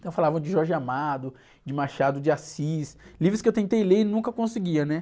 Então falavam de Jorge Amado, de Machado de Assis, livros que eu tentei ler e nunca conseguia, né?